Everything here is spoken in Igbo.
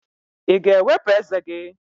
Ị ga-ewepụ ezé gị?